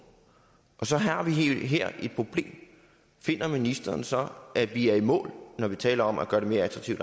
og så har vi her et problem finder ministeren så at vi er i mål når vi taler om at gøre det mere attraktivt